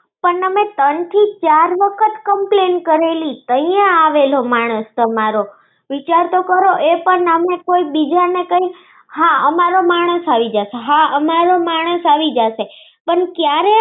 પણ અમે ત્રણ થી ચાર વખત complaint કરેલી પણ ક્યાં આવેલો માણસ તમારો વિચાર તો કરો એ પણ અમે કઈ બીજાને કઈ હા અમારો માણસ આવી જશે હા અમારો માણસ આવી જશે. પણ ક્યારે આવશે